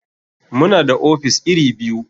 Muna da ofis iri biyu.